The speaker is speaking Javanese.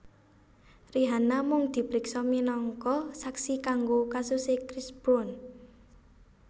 Rihanna mung dipriksa minangka saksi kanggo kasuse Chris Brown